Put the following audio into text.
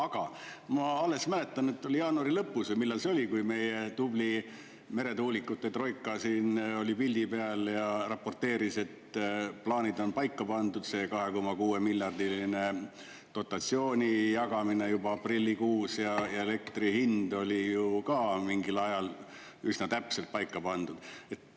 Aga ma mäletan, et alles jaanuari lõpus või millal see oli, kui meie tubli meretuulikute troika siin oli pildi peal ja raporteeris, et plaanid on paika pandud, see 2,6-miljardiline dotatsiooni jagamine on juba aprillikuus, ja elektri hind oli ju ka mingil ajal üsna täpselt paika pandud.